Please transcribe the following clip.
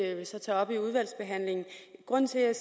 jeg så tage op i udvalgsbehandlingen grunden til at